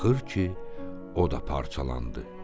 Axır ki, o da parçalandı.